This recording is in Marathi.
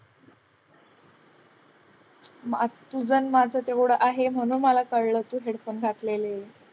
तुझं आणि माझं तेवढं आहे म्हणून मला कळलं तू headphone घातलेले.